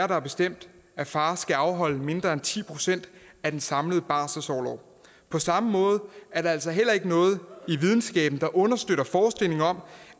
der har bestemt at far skal afholde mindre end ti procent af den samlede barselsorlov på samme måde er der altså heller ikke noget i videnskaben der understøtter forestillingen om